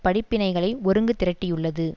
படிப்பினைகளை ஒருங்கு திரட்டியுள்ளது